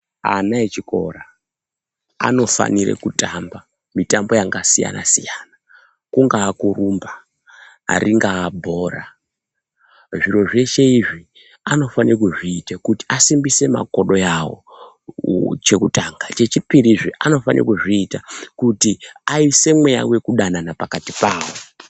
Ana echikora anofanire kutamba mitambo yangasiyana-siyana, kungakurumba, ringaa bhora zviro zveshe izvi anofanire kuzviite kuti asimbise makodo avo. Chekutanga, chechipirizve anofanire kuzviita kuti aise mweya vekudanana pakati pavo.